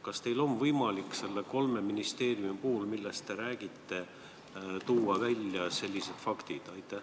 Kas teil on võimalik kolme ministeeriumi puhul, millest te räägite, tuua välja sellised faktid?